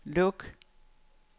luk